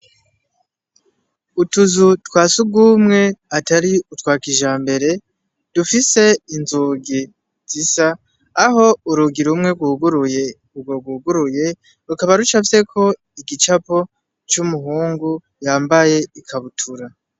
Utu nzu twa sugumwe atari utwa kijambere dufise inzugi zisa, aho urugi rumwe rwuguruye rukaba rucafyeko igicapo c'umuhungu yambaye ikabutura.